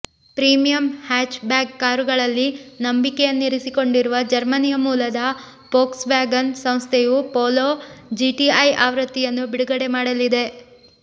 premium hatchback ಕಾರುಗಳಲ್ಲಿ ನಂಬಿಕೆಯನ್ನಿರಿಸಿಕೊಂಡಿರುವ ಜರ್ಮನಿಯ ಮೂಲದ ಫೋಕ್ಸ್ ವ್ಯಾಗನ್ ಸಂಸ್ಥೆಯು ಪೊಲೊ ಜಿಟಿಐ ಆವೃತ್ತಿಯನ್ನು ಬಿಡುಗಡೆ ಮಾಡಲಿದೆ